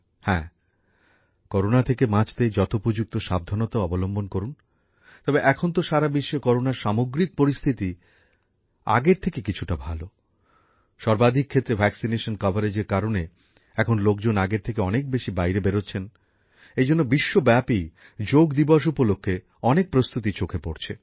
হ্যাঁ করোনা থেকে বাঁচতে যথোপযুক্ত সাবধানতাও অবলম্বন করুন তবে এখন তো সারা বিশ্বে করোনার সামগ্রিক পরিস্থিতি আগের থাকে কিছুটা ভালো যথেষ্ট টিকাকরণের কারণে এখন লোকজন আগের থেকে অনেক বেশি বাইরে বেরোচ্ছেন এইজন্য বিশ্বব্যাপী যোগ দিবস উপলক্ষে অনেক প্রস্তুতি চোখে পড়ছে